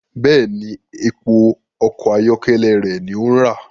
Bẹẹni, èpo ọkọ ayọkẹlẹ rẹ ní o ń ra